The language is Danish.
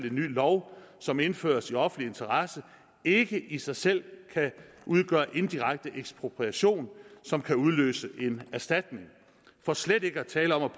en ny lov som indføres i offentlig interesse ikke i sig selv kan udgøre indirekte ekspropriation som kan udløse en erstatning for slet ikke at tale om